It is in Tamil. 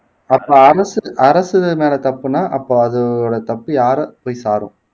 அப்ப அரசு அரசு மேல தப்புன்னா அப்ப அதோட தப்பு யார போய் சாரும்